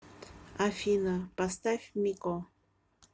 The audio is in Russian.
афина поставь мико